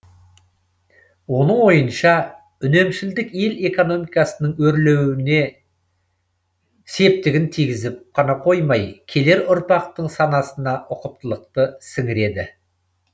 оның ойынша үнемшілдік ел экономикасының өрлеруіне септігін тигізіп қана қоймай келер ұрпақтың санасына ұқыптылықты сіңіреді